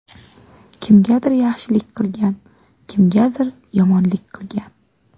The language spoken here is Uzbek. Kimgadir yaxshilik qilgan, kimgadir yomonlik qilgan.